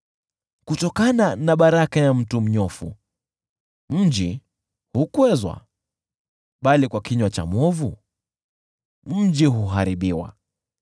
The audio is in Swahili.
Kutokana na baraka ya mtu mnyofu mji hukwezwa, bali kwa kinywa cha mwovu mji huharibiwa.